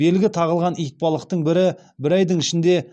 белгі тағылған итбалықтың бірі бір айдың ішінде